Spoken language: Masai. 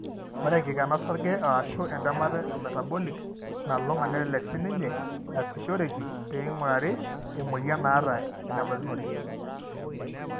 Ore enkikena osarge o/ashu entemata emetabolic nalulung'a nelelek siininye easishoreki peing'urari emuoyian naata enebaikinore.